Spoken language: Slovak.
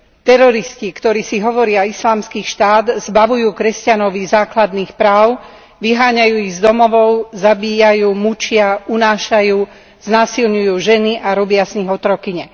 Teroristi, ktorí si hovoria Islamský štát, zbavujú kresťanov ich základných práv, vyháňajú ich z domovov, zabíjajú, mučia, unášajú, znásilňujú ženy a robia z nich otrokyne.